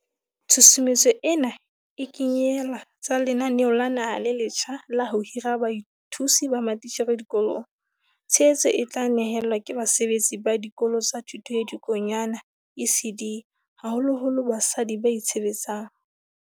Tshusumetso ena e kenyele tsa lenaneo la naha le letjha la ho hira bathusi ba matitjhere dikolong. Tshehetso e tla ne helwa ke basebetsi ba Dikolo tsa Thuto ya Dikonyana, ECD, haholoholo basadi ba itshebetsang.